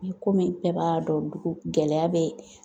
I komi bɛɛ b'a dɔn ko gɛlɛya bɛ